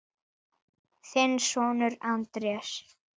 Þinn sonur, Andrés.